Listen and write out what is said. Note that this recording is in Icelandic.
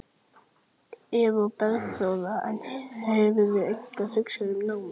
Eva Bergþóra: En hefurðu eitthvað hugsað um námið?